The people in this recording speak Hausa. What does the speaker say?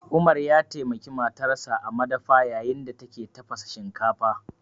Umar ya taimaki matarsa a madafa yayin da take tafasa shinkafa